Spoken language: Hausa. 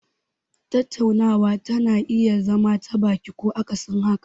Tattaunawa tana iya zama ta baki ko akasin haka.